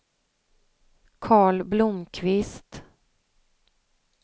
Carl Blomqvist